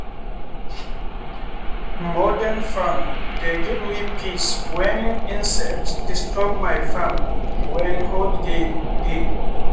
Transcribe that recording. morden farming dey give me peace when insects disturb my farm when holiday dey.